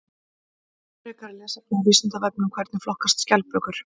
Frekara lesefni á Vísindavefnum: Hvernig flokkast skjaldbökur?